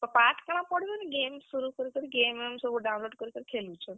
ପାଠ୍ କାଣା ପଢ~ game शुरू କରିକିରି, game ବେମ୍ ସବୁ download କରିକିରି ଖେଲୁଛନ୍।